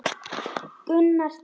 Gunnar Dal.